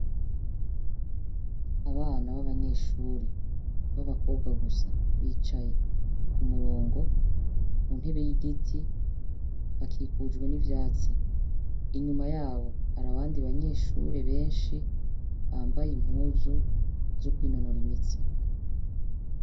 Abana b'abanyeshure, b'ababakobwa gusa; bicaye, ku murongo, ku ntebe y'igiti, bakikujwe n'ivyatsi; inyuma yabo hari abandi banyeshure benshi, bambaye impuzu zo kwinonora imitsi.